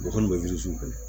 O kɔni bɛ